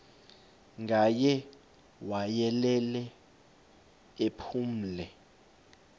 ngaye wayelele ephumle